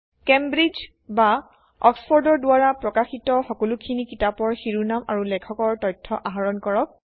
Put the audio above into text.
Cambridge বা অক্সফৰ্ডৰ দ্বাৰা প্ৰকাশিত সকলোখিনি কিতাপৰ শিৰোনাম আৰু লেখকৰ তথ্য আহৰণ কৰক